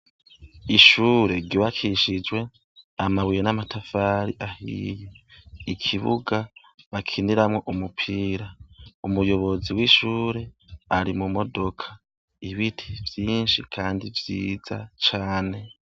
Ishure ryubakishijwe amabuye n'amatafari ahiye. Ikibuga bakiniramwo umupira. Umuyobozi w'ishure ari mumodoka. Ibiti vyinshi kandi vyiza cane.